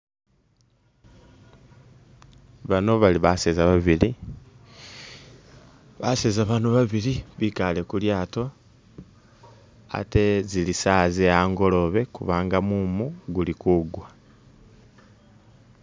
Bano bali baseza babili ,baseza bano babili bikaale kulyaato ,ate zili saawa ze angolobe kubanga mumu guli kugwa